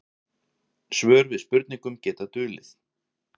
Svör við spurningum geta dulið.